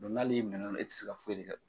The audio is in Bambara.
Dɔ nali e minɛna o la e tɛ se ka foyi le kɛ.